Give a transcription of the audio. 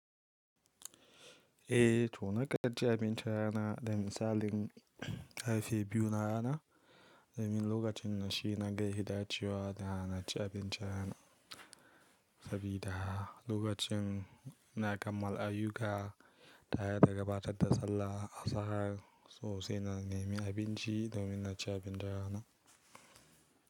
Eh to na ka ci abinci rana domin misalin karfe biyu na rana domin lokacin na shi na ga hidacewa da na ci abinci rana. Sabida lokacin na kammala ayyuka taya ta gabatar da sallah asahar sosai na nemi abinci domin na ci abinci rana.